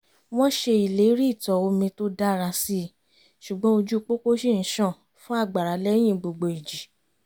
wọ́n ṣe ìlérí ìtọ̀ omi tó dára síi ṣùgbọ́n ojú pópó ṣì ń ṣàn fún àgbàrá lẹ́yìn gbogbo ìjì